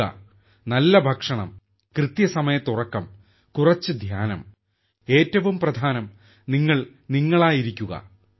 യോഗ നല്ല ഭക്ഷണം കൃത്യസമയത്ത് ഉറക്കം കുറച്ച് ധ്യാനം ഏറ്റവും പ്രധാനം നിങ്ങൾ നിങ്ങളായിരിക്കുക